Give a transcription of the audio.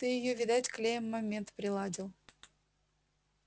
ты её видать клеем момент приладил